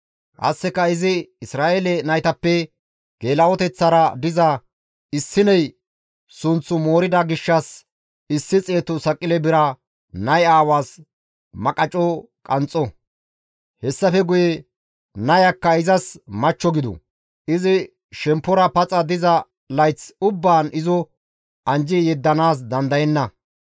Qasseka izi Isra7eele naytappe geela7oteththara diza issiney sunththu moorida gishshas issi xeetu saqile bira nay aawaas magaco qanxxo; hessafe guye nayakka izas machcho gidu; izi shemppora paxa diza layth ubbaan izo anjji yeddanaas dandayenna.